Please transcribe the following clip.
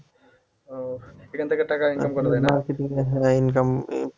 ও এখান থেকে টাকা income করা যায় না? হ্যাঁ income